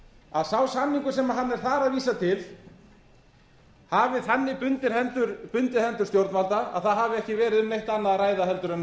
að sá samningur sem hann er þar að vísa til hafi þannig bundið hendur stjórnvalda að það hafi ekki verið um neitt annað að ræða en